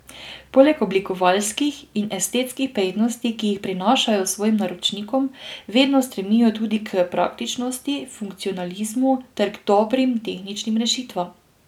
Poleg oblikovalskih in estetskih prednosti, ki jih prinašajo svojim naročnikom, vedno stremijo tudi k praktičnosti, funkcionalizmu ter k dobrim tehničnim rešitvam.